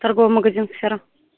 торговый магазин сфера